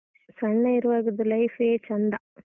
ಸಣ್ಣ ಇರುವಾಗದ್ದು life ಎ ಚೆಂದ.